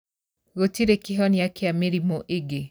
Gũtire kĩhonia kĩa mĩrimü ĩngĩ.